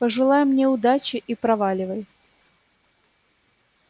пожелай мне удачи и проваливай